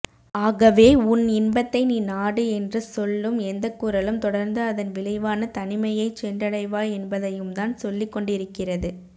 ஆகவே உன் இன்பத்தை நீ நாடு என்று சொல்லும் எந்தக்குரலும் தொடர்ந்து அதன் விளைவான தனிமையைச் சென்றடைவாய் என்பதையும்தான் சொல்லிக்கொண்டிருக்கிறது